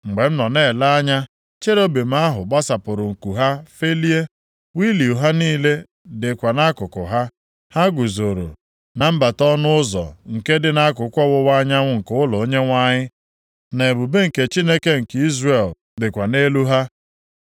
Mgbe m nọ na-ele anya, cherubim ahụ gbasapụrụ nku ha felie, wịịlu ha niile dịkwa nʼakụkụ ha. Ha guzoro na mbata ọnụ ụzọ nke dị nʼakụkụ ọwụwa anyanwụ nke ụlọ Onyenwe anyị, na ebube nke Chineke nke Izrel dịkwa nʼelu ha.